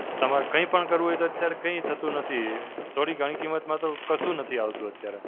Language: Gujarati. તમારે કંઈ પણ કરવું હોય તો અત્યારે કંઈ થતું નથી. થોડી ઘણી કિંમતમાં તો કશું નથી આવતું અત્યારે.